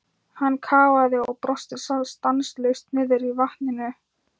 Hann kafaði og kafaði og brosti stanslaust niðri í vatninu.